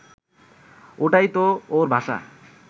ওইটা তো ওর ভাষা